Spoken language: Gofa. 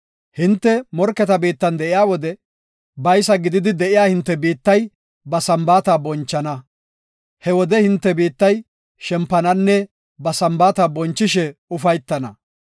Hinte morketa biittan de7iya wode, baysa giigidi de7iya hinte biittay ba Sambaata bonchana. He wode hinte biittay shempananne ba Sambaata bonchishe ufaytana.